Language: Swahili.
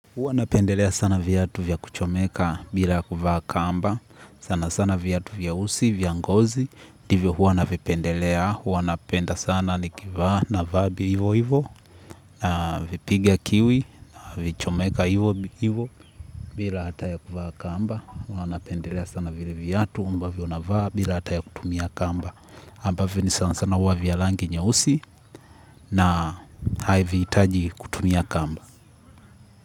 Huwa napendelea sana viatu vya kuchomeka bila kuvaa kamba. Sana sana viatu vya usi, vya ngozi ndivyo hua napendelea, hua napenda sana nikivaa, navaa hivo hivo. Navipiga kiwi, na vichomeka hivo hivo bila hata ya kuvaa kamba. Hua napendelea sana vile viatu, ambavyo navaa bila hata ya kutumia kamba ambavyo ni sana sana hua vya rangi nyeusi. Na havihitaji kutumia kamba.